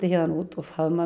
út og